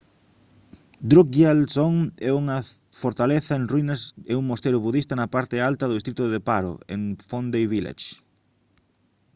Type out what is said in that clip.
drukgyal dzong é unha fortaleza en ruínas e un mosteiro budista na parte alta do distrito de paro en phondey village